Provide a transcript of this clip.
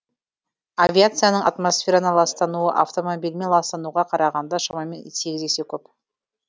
авиацияның атмосфераны ластауы автомобильмен ластануға қарағанда шамамен сегіз есе көп